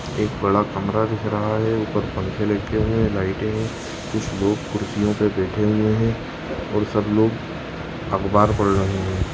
एक बड़ा कमरा दिख रहा है। ऊपर पंखे लटके हुए हैं लाइटे हैं। कुछ लोग कुर्सियों बैठे हुए हैं और सब लोग अखबार पढ़ रहे हैं।